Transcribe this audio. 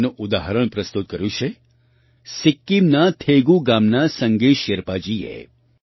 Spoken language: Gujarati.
તેનું ઉદાહરણ પ્રસ્તુત કર્યું છે સિક્કિમના થેગૂ ગામના સંગે શેરપાજીએ